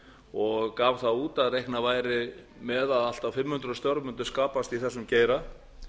og gaf það út að reiknað væri með að allt að fimm hundruð störf mundu skapast í þessum geira